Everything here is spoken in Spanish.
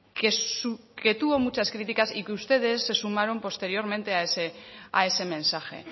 que tuvo muchas críticas y que ustedes se sumaron posteriormente a ese mensaje